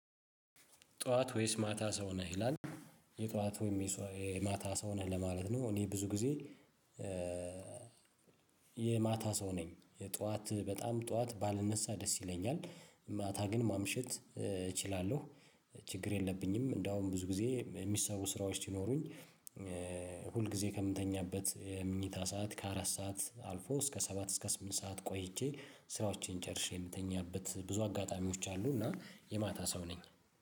ጠዋት ወይስ ማታ ሰው ነህ ይላል የጠዋት ወይም ማታ ሰው ነህ ለማለት ነው። እኔ ብዙ ጊዜ የማታ ሰው ነኝ። የጧት በጣም ጧት ባልነሳ ደስ ይለኛል ማታ ግን ማምሸት እችላለሁ። ችግር የለብኝም እንደውም ብዙ ጊዜ የሚሰሩ ስራዎች ሲኖሩኝ። ሁል ጊዜ ከምተኛበት የምኝታ ሰዓት ከአራት ሰዓት አልፎ እስከ ሰባት እስከ ስምንት ሰዓት ቆይቼ ስራዎችን ጨርሼ የምተኛበት ብዙ አጋጣሚዎች አሉ። እና የማታ ሰው ነኝ።